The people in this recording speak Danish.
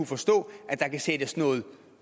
forstå at der kan sættes noget